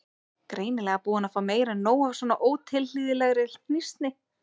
Greinilega búin að fá meira en nóg af svona ótilhlýðilegri hnýsni.